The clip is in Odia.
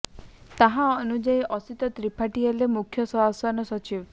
ତାହା ଅନୁଯାୟୀ ଅସିତ ତ୍ରିପାଠୀ ହେଲେ ମୁଖ୍ୟ ଶାସନ ସଚିବ